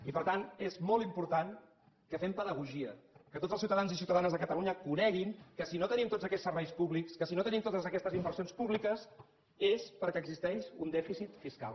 i per tant és molt important que fem pedagogia que tots els ciutadans i ciutadanes de catalunya coneguin que si no tenim tots aquests serveis públics si no te·nim totes aquestes inversions públiques és perquè existeix un dèficit fiscal